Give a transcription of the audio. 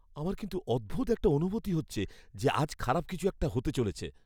আমার কিন্তু অদ্ভুত একটা অনুভূতি হচ্ছে যে আজ খারাপ কিছু একটা হতে চলেছে।